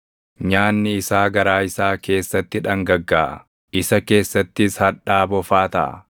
nyaanni isaa garaa isaa keessatti dhangaggaaʼa; isa keessattis hadhaa bofaa taʼa.